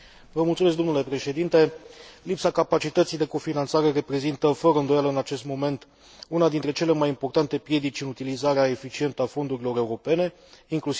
Lipsa capacității de cofinanțare reprezintă, fără îndoială, în acest moment, una dintre cele mai importante piedici în utilizarea eficientă a fondurilor europene, inclusiv Fondul European pentru Pescuit.